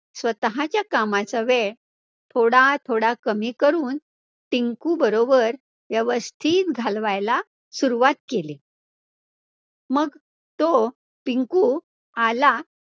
स्वतःच्या कामाचा वेळ थोडा थोडा कमी करून टिंकु बरोबर व्यवस्थित घालवायला सुरुवात केली मग तो पिंकु आला